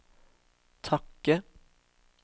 takke